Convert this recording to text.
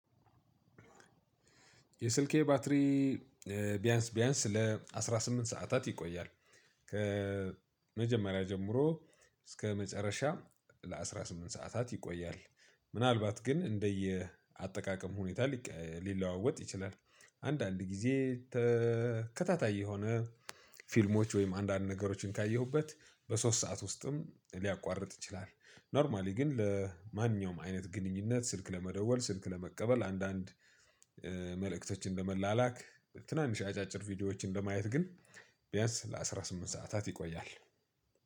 የስልኬ ባትሪ ቢያንስ ቢያንስ ለአስራ ስምንት ሰዓታት ይቆያል። ከመጀመሪያ ጀምሮ እስከ መጨረሻ ለአስራ ስምንት ሰዓታት ይቆያል። ምናልባት ግን እንደየ አጠቃቀም ሁኔታ ሊቀ ሊለዋወጥ ይችላል። አንዳንድ ጊዜ ተከታታይ የሆነ ፊልሞች ወይም አንዳንድ ነገሮችን ካየሁበት በሶስት ሰዓት ውስጥም ሊያቋርጥ ይችላል። ኖርማሊ ግን ለማንኛውም አይነት ግንኙነት ስልክ ለመደወል ስልክ ለመቀበል አንዳንድ መልእክቶችን ለመላላክ ትናንሽ አጫጭር ቪዲዮዎችን ለማየት ግን ቢያንስ ለአስራ ስምንት ሰዓታት ይቆያል።